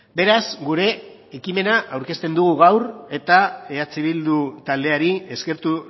beraz gure ekimena aurkezten dugu gaur eta eh bildu taldeari eskertu